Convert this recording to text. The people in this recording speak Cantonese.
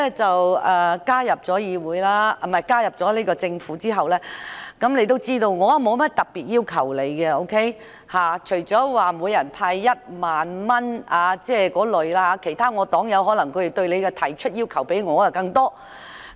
自局長加入政府後，他應知我對他也沒有甚麼特別要求，除了每人派發1萬元那類建議之外，我要求不多，反而其他黨友對他要求更多。